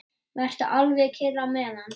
Vertu alveg kyrr á meðan.